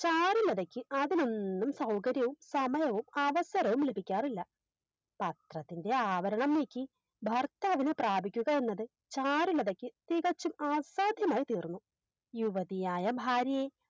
ചാരുലതക്ക് അതിനൊന്നും സൗകര്യവും സമയവും അവസരവും ലഭിക്കാറില്ല പത്രത്തിൻറെ ആവരണം നീക്കി ഭർത്താവിനെ പ്രാപിക്കുക എന്നത് ചാരുലതക്ക് തികച്ചും അസാധ്യമായി തീർന്നു യുവതിയായ ഭാര്യയെ